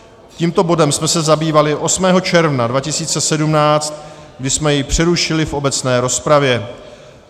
Tímto bodem jsme se zabývali 8. června 2017, kdy jsme jej přerušili v obecné rozpravě.